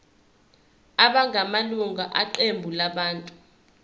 abangamalunga eqembu labantu